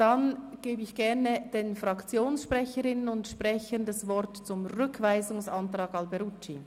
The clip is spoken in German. Ich gebe gerne den Fraktionssprecherinnen und -sprechern das Wort zum Rückweisungsantrag Alberucci.